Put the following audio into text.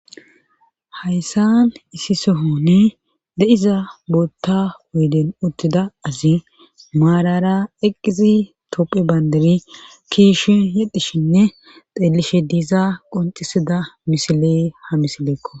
Hayssan issi sohonne de'iza bootta woyden uttida azi maalara eqqizi tophe banderi kiishi yedhishinne xeelishe diiza qonxisida misiley ha misileekko.